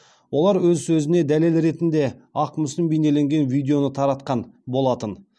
олар өз сөзіне дәлел ретінде ақ мүсін бейнеленген видеоны таратқан болатын